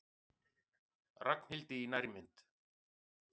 Ragnhildi í nærmynd.